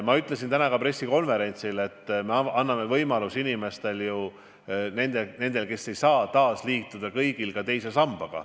Ma ütlesin täna ka pressikonverentsil, et me anname võimaluse inimestele, kes pole teises sambas, sellega millalgi liituda.